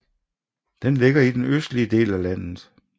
Den ligger i den østlige del af landet